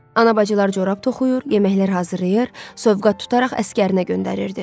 Ana bacılar corab toxuyur, yeməklər hazırlayır, sovqa tutaraq əsgərinə göndərirdi.